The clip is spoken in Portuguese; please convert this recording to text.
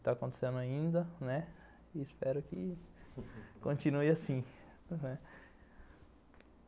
Está acontecendo ainda, né e espero que continue assim.